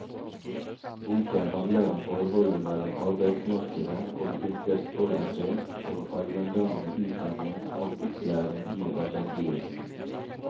Boken handler om forholdet mellom arbeidsmarkedet og yrkesorientert og allmenndannende utdanning og opplæring i arbeidslivet.